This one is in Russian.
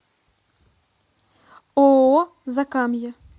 ооо закамье